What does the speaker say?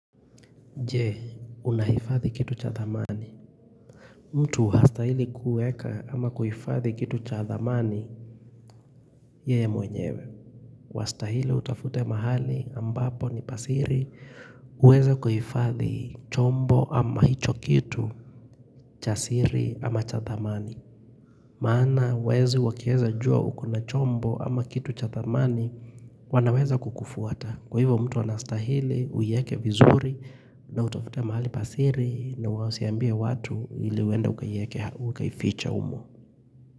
Je, unahifadhi kitu cha thamani. Mtu hastahili kueka ama kuhifadhi kitu cha thamani, yeye mwenyewe. Wastahili utafute mahali ambapo ni pa siri, uweze kuhifadhi chombo ama hicho kitu cha siri ama cha thamani. Maana, wezi wakieza jua ukona chombo ama kitu cha thamani, wanaweza kukufuata. Kwa hivyo mtu anastahili, uieke vizuri na utafute mahali pa siri na usiambiewatu ili uende ukaifiche humo.